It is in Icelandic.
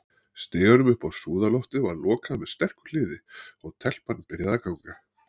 Stiganum upp á súðarloftið var lokað með sterku hliði, og- telpan byrjaði að ganga.